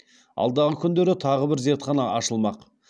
алдағы күндері тағы бір зертхана ашылмақ